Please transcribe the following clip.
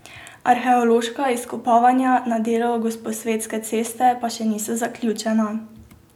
Arheološka izkopavanja na delu Gosposvetske ceste pa še niso zaključena.